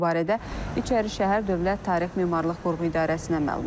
Bu barədə İçərişəhər Dövlət Tarix Memarlıq Qoruğu İdarəsinə məlumat verilib.